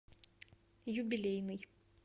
юбилейный